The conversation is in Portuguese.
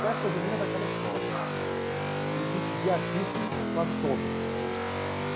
festa junina daquela escola, e de de artice quase todas.